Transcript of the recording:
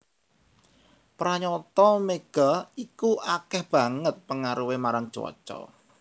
Pranyata mega iku akéh banget pengaruhé marang cuaca